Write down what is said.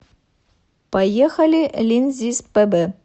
поехали линзиспб